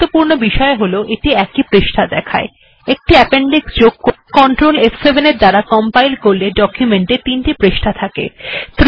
সবথেকে গুরুত্বপূর্ণ বিষয় হল এই যে এটি একই পৃষ্ঠা দেখায় একটি অ্যাপেনডিক্স যোগ করা যাক ctrl f7 এর দ্বারা কম্পাইল করা যাক এখন ডকুমেন্ট এ এখন তিনটি পৃষ্ঠা আছে